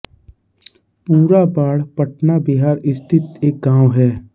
पुरा बाढ पटना बिहार स्थित एक गाँव है